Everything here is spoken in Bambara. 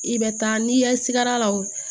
I bɛ taa n'i ye sigɛr'a la o